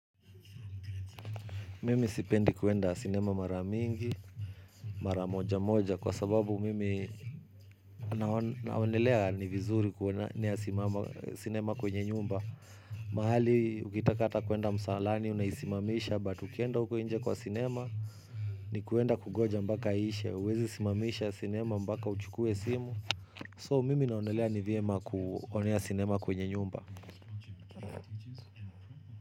Mimi sipendi kwenda dinema mara mingi, mara moja moja, kwa sababu mimi naonelea ni vizuri kuonea sinema kwenye nyumba. Mahali, ukitaka hata kwenda msalani, unaisimamisha, but ukienda huko nje kwa sinema, ni kwenda kungoja mpaka iishe, uwezi simamisha sinema mpaka uchukue simu. So, mimi naonelea ni vyema kuonea sinema kwenye nyumba.